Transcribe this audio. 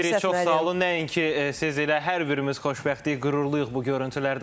Təşəkkür edirik, çox sağ olun, nəinki siz elə hər birimiz xoşbəxtlik, qüruruyuq bu görüntülərdən.